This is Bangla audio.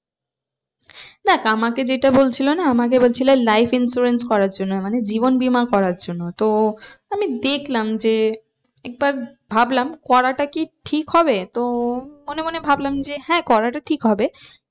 দেখ আমাকে যেটা বলছিলো না আমাকে বলছিলো life insurance করার জন্য মানে জীবন বীমা করার জন্য তো আমি দেখলাম যে একবার ভাবলাম করাটা কি ঠিক হবে? তো মনে মনে ভাবলাম যে হ্যাঁ করাটা ঠিক হবে